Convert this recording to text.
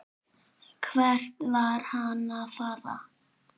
Hvert var hann að fara?